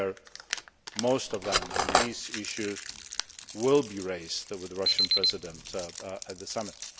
we share most of them and these issues will be raised with the Russian President at the summit.